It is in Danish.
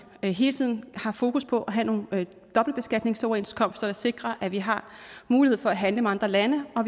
hele tiden har fokus på at have nogle dobbeltbeskatningsoverenskomster der sikrer at vi har mulighed for at handle med andre lande og